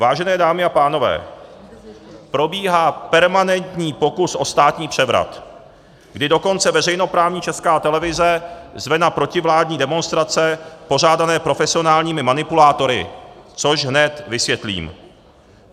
Vážené dámy a pánové, probíhá permanentní pokus o státní převrat, kdy dokonce veřejnoprávní Česká televize zve na protivládní demonstrace pořádané profesionálními manipulátory, což hned vysvětlím.